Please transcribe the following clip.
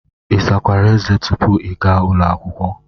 Ị sakwara eze tupu ị ga ụlọ akwụkwọ?